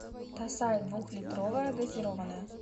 тасай двухлитровая газированная